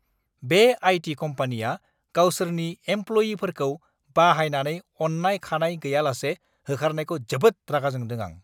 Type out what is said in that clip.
बे आइ.टि.कम्पानिया गावसोरनि एमप्ल'यिफोरखौ बाहायनानै अन्नाय-खान्नाय गैयालासे होखारनायखौ जोबोद रागाजोंदों आं!